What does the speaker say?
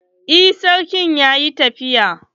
Eh sarki yaƴi tafiya.